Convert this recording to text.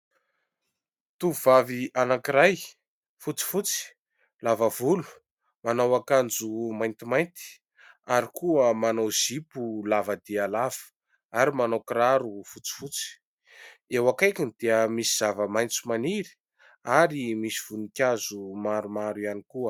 Tovovavy anankiray fotsifotsy, lava volo, manao akanjo maintimainty ary koa manao zipo lava dia lava, ary manao kiraro fotsifotsy. Eo akaikiny dia misy zava-maitso maniry ary misy voninkazo maromaro ihany koa.